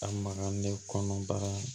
A magalen kɔnɔ bagan